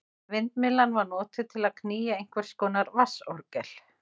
Vindmyllan var notuð til að knýja einhvers konar vatnsorgel.